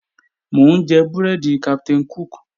Mò ń jẹ búrẹ́dì Captain Cook